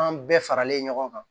An bɛɛ faralen ɲɔgɔn kan